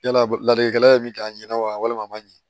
Yala ladilikɛla ye min k'a ɲɛ walima a ma ɲɛ